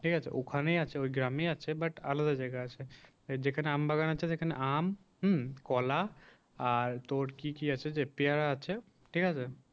ঠিক আছে ওখানেই আছে গ্রামেই আছে। বাট আলাদা জায়গায় আছে যেখানে আম বাগানে চেয়ে যেখানে আম হুম কলা আর তোর কি কি আছে যে পেয়ারা আছে ঠিক আছে